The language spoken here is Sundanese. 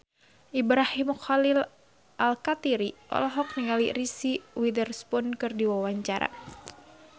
Ibrahim Khalil Alkatiri olohok ningali Reese Witherspoon keur diwawancara